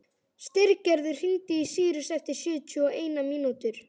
Styrgerður, hringdu í Sýrus eftir sjötíu og eina mínútur.